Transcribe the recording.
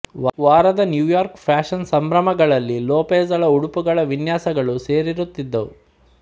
ವಾರದ New York fashion ಸಂಭ್ರಮಗಳಲ್ಲಿ ಲೋಪೆಜ಼ಳ ಉಡುಪುಗಳ ವಿನ್ಯಾಸಗಳು ಸೇರಿರುತ್ತಿದ್ದವು